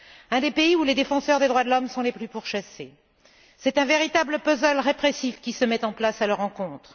Un des pays où les défenseurs des droits de l'homme sont les plus pourchassés et c'est un véritable puzzle répressif qui se met en place à leur encontre.